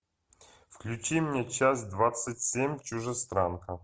включи мне часть двадцать семь чужестранка